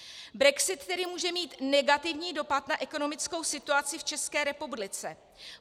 Brexit tedy může mít negativní dopad na ekonomickou situaci v České republice.